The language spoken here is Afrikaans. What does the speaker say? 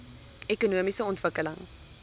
ekonomiese ontwikkeling